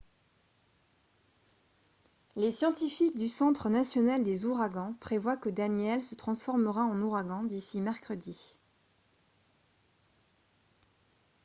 les scientifiques du centre national des ouragans prévoient que danielle se transformera en ouragan d'ici mercredi